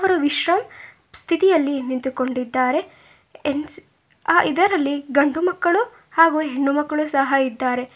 ವಿಶ್ರಂ ಸ್ಥಿತಿಯಲ್ಲಿ ನಿಂತುಕೊಂಡಿದ್ದಾರೆ ಹೆಂನ್ಸ್ ಆ ಇದರಲ್ಲಿ ಗಂಡು ಮಕ್ಕಳು ಹಾಗೂ ಹೆಣ್ಣು ಮಕ್ಕಳು ಸಹ ಇದ್ದಾರೆ.